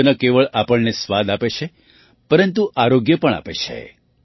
મધ ન કેવળ આપણને સ્વાદ આપે છે પરંતુ આરોગ્ય પણ આપે છે